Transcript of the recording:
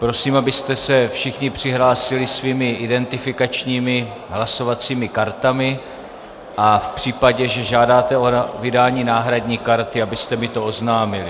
Prosím, abyste se všichni přihlásili svými identifikačními hlasovacími kartami a v případě, že žádáte o vydání náhradní karty, abyste mi to oznámili.